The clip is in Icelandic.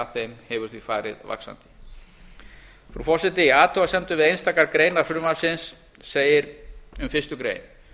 þeim hefur því farið vaxandi frú forseti í athugasemdum við einstakar greinar frumvarpsins segir um fyrstu grein